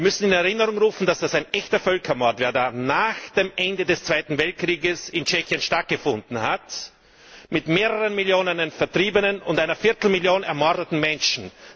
Wir müssen in Erinnerung rufen, dass das ein echter Völkermord war, der da nach dem Ende des Zweiten Weltkriegs in Tschechien stattgefunden hat mit mehreren Millionen Vertriebenen und einer Viertelmillion ermordeten Menschen.